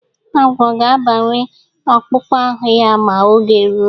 Agwọ ga- agbanwe akpụkpọ ahụ ya ma oge ruo.